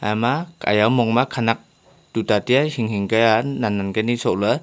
ama ejaw humong ma khenak toita taiya hing hing ka he nan nan ka ni sok la.